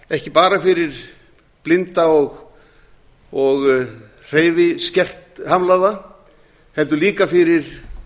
ekki bara fyrir blinda og hreyfihamlaða heldur líka fyrir